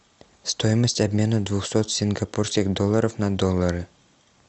стоимость обмена двухсот сингапурских долларов на доллары